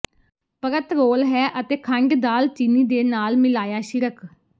ਪਰਤ ਰੋਲ ਹੈ ਅਤੇ ਖੰਡ ਦਾਲਚੀਨੀ ਦੇ ਨਾਲ ਮਿਲਾਇਆ ਛਿੜਕ